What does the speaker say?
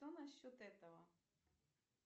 то насчет этого